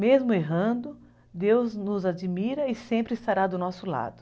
Mesmo errando, Deus nos admira e sempre estará do nosso lado.